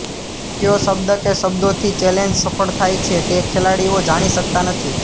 કયો શબ્દ કે શબ્દોથી ચેલેન્જ સફળ થાય છે તે ખેલાડીઓ જાણી શકતા નથી